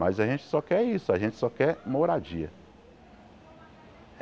Mas a gente só quer isso, a gente só quer moradia.